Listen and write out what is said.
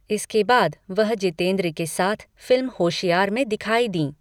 इसके बाद वह जितेंद्र के साथ फिल्म होशियार में दिखाई दीं।